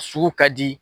Sugu ka di